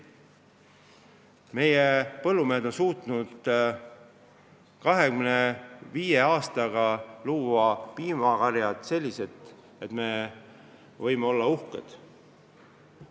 Meie põllumehed on suutnud 25 aastaga luua sellised piimakarjad, et me võime uhked olla.